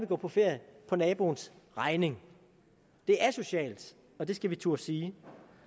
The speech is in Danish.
gå på ferie på naboens regning det er asocialt og det skal vi turde sige